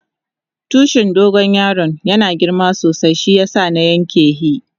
Tushin dogo yaron yana girma sosai shiyasa na yanka hi.